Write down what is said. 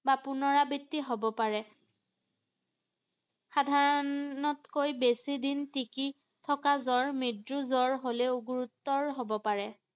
বা পুণৰাবৃত্তি হ’ব পাৰে ৷ সাধাৰণতকৈ বেছি দিন তিকি থকা জ্বৰ মৃত্যু জ্বৰ হলেও গুৰুত্বৰ হ’ব পাৰে ৷